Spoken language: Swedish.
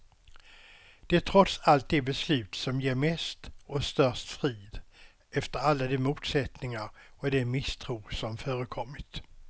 Det är trots allt det beslut som ger mest och störst frid, efter alla de motsättningar och den misstro som förekommit.